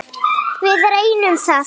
Við reyndum það.